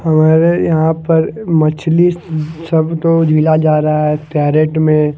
हमारे यहां पर मछली सबको दिया जा रहा है कैरेट में--